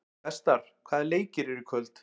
Vestar, hvaða leikir eru í kvöld?